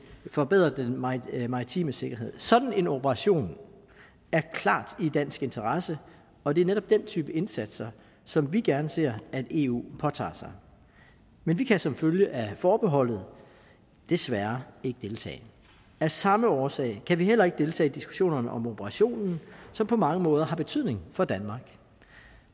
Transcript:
forbedre den maritime maritime sikkerhed sådan en operation er klart i dansk interesse og det er netop den type indsatser som vi gerne ser at eu påtager sig men vi kan som følge af forbeholdet desværre ikke deltage af samme årsag kan vi heller ikke deltage i diskussionerne om operationen som på mange måder har betydning for danmark